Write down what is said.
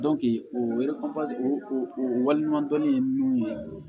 o o waleɲuman dɔnni ye min ye